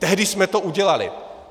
Tehdy jsme to udělali.